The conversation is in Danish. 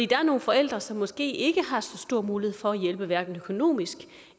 der er nogle forældre som måske ikke har så stor mulighed for at hjælpe hverken økonomisk